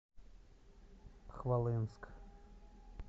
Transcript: хвалынск